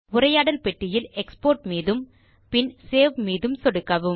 உரையாடல் பெட்டியில் எக்ஸ்போர்ட் மீதும் பின் சேவ் பட்டன் இலும் சொடுக்கவும்